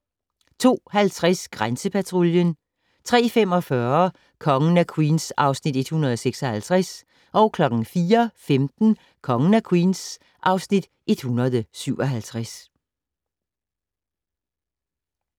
02:50: Grænsepatruljen 03:45: Kongen af Queens (Afs. 156) 04:15: Kongen af Queens (Afs. 157)